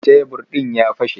Tebir ɗin ya fashe.